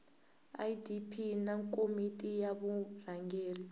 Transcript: idp na komiti ya vurhangeri